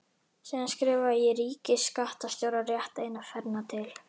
Síðan skrifaði ég ríkisskattstjóra rétt eina ferðina til.